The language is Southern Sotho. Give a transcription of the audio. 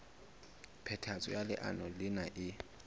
phethahatso ya leano lena e